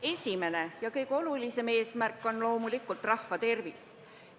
Esimene ja kõige olulisem eesmärk on loomulikult rahva tervis.